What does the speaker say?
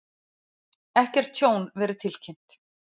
Ekkert tjón verið tilkynnt